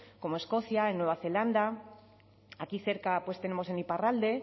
como escocia en nueva zelanda aquí cerca pues tenemos en iparralde